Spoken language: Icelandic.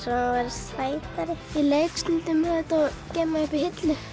sætari ég leik stundum með þetta og geymi það upp í hillu